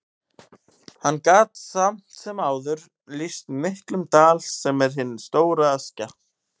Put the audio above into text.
Hann gat samt sem áður lýst miklum dal, sem er hin stóra Askja.